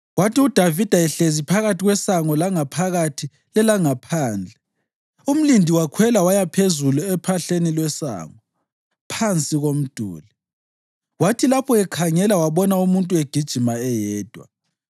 Kwathi uDavida ehlezi phakathi kwesango langaphakathi lelangaphandle, umlindi wakhwela waya phezulu ephahleni lwesango, phansi komduli. Kwathi lapho ekhangela, wabona umuntu egijima eyedwa.